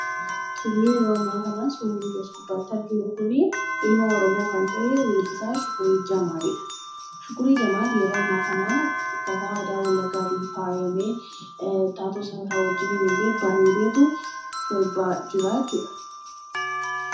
Tole yeroo ammaa kana suurri nuti as gubbaatti arginu kun ilma Oromoo kan ta’e weellisaa Shukurii Jamaalidha. Shukurii Jamaal yeroo ammaa kana uffata aadaa wallaggaatiin faayamee taatota isaa wajjin bareedeetu sirbaa jira jechuudha.